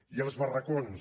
i els barracons